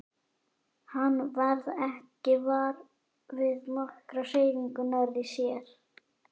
Hann varð ekki var við nokkra hreyfingu nærri sér.